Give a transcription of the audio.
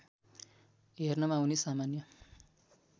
हेर्नमा उनी सामान्य